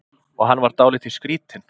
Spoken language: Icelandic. Og hann var dálítið skrýtinn.